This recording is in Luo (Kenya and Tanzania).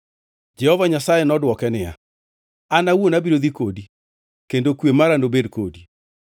Jehova Nyasaye nodwoke niya, “An awuon abiro dhi kodi kendo kwe mara nobed kodi.”